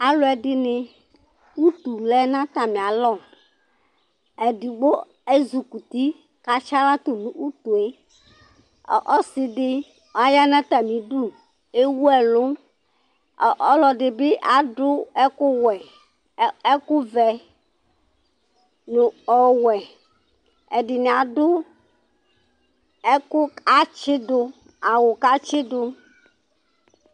Alu ɛɖɩnɩ, utu lɛ natamialɔ Ẹɖɩgbo ezikuti katsi aɣla tu nu utue Ɔ ɔsiɖɩ aya natamiɖu, ewu ɛlu Ɔ ɔlɔɖɩɓɩ aɖu ɛku wɛ, ɛ ɛku vɛ nu ɔwɛ Ɛɖɩnɩ aɖu ɛku atsiɖu, awu katsi ɖu